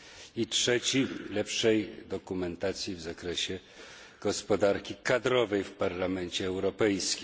I trzeci lepszej dokumentacji w zakresie gospodarki kadrowej w Parlamencie Europejskim.